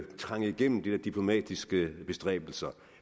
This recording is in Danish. trænge igennem de der diplomatiske bestræbelser